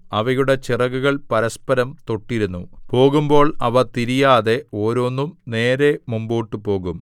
അവയുടെ ചിറകുകൾ പരസ്പരം തൊട്ടിരുന്നു പോകുമ്പോൾ അവ തിരിയാതെ ഓരോന്നും നേരെ മുമ്പോട്ടു പോകും